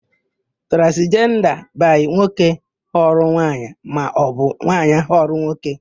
Transijenda by nwoke ghọrọ nwaanyị maọbụ nwaanyị ghọrọ nwoke.